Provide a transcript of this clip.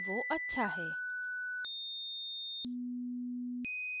वो अच्छा है